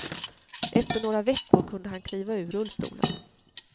Efter några veckor kunde han kliva ur rullstolen.